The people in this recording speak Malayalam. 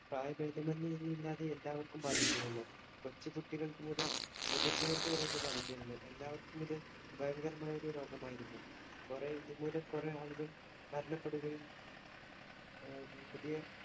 പ്രായഭേദ മെന്ന് ഒന്നില്ലാതെ എല്ലാവര്‍ക്കും ബാധിച്ചിരുന്നു. കൊച്ചുകുട്ടികള്‍ക്ക് മുതല്‍ മുതിര്‍ന്നവര്‍ക്കു വരെ ഇത് ബാധിച്ചിരുന്നു. എല്ലാവര്‍ക്കും ഇത് ഭയങ്കരമായ ഒരു രോഗം ആയിരുന്നു. കുറെ ഇതുമൂലം കൊറേ ആളുകള്‍ മരണപ്പെടുകയും പുതിയ